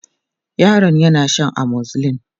yaron yana Shan amoxyl